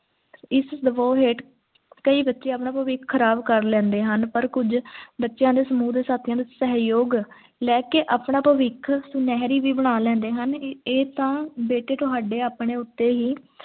ਇਸ ਦਬਾਅ ਹੇਠ ਕਈ ਬੱਚੇ ਆਪਣਾ ਭਵਿੱਖ ਖਰਾਬ ਕਰ ਲੈਂਦੇ ਹਨ ਪਰ ਕੁਝ ਬੱਚਿਆਂ ਨੂੰ ਸਮੂਹ ਦੇ ਸਾਥੀਆਂ ਦੇ ਸਹਿਯੋਗ ਲੈ ਕੇ ਆਪਣਾ ਭਵਿੱਖ ਸੁਨਹਿਰੀ ਵੀ ਬਣਾ ਲੈਂਦੇ ਹਨ ਏਥੇ ਤੇ ਬੇਠੇ ਤੁਹਾਡੇ ਆਪਣੇ ਉੱਤੇ ਹੀ